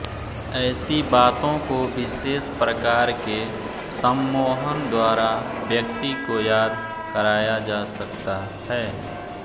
ऐसी बातों को विशेष प्रकार के सम्मोहन द्वारा व्यक्ति को याद कराया जा सकता है